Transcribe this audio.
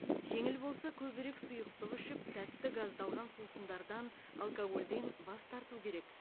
жеңіл болса көбірек сұйықтық ішіп тәтті газдалған сусындардан алкогольден бас тарту керек